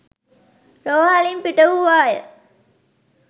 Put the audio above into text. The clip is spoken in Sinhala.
රෝහලින් පිටවූවා ය.